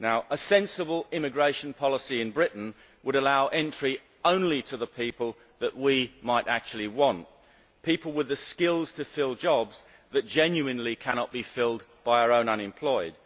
A sensible immigration policy in Britain would allow entry only to those people we might actually want people with the skills to fill jobs that genuinely cannot be filled by our own unemployed